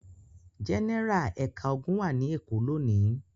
Gẹ́nẹ́rà ẹ̀ka ogun wà ní Èkó lónìí.